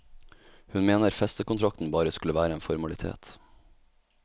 Hun mener festekontrakten bare skulle være en formalitet.